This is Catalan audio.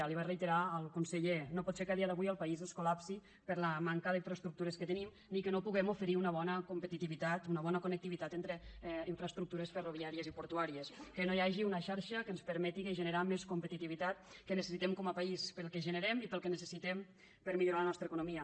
li ho va reiterar el conseller no pot ser que a dia d’avui el país es col·lapsi per la manca d’infraestructures que tenim ni que no puguem oferir una bona competitivitat una bona connectivitat entre infraestructures ferroviàries i portuàries que no hi hagi una xarxa que ens permeti generar més competitivitat que necessitem com a país pel que generem i per al que ne cessitem per a millorar la nostra economia